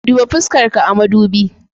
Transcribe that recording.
Duba fuskarka a mudubi.